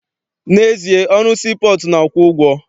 N'ezie, ọrụ sii pọọtụ na-akwụ ụgwọ.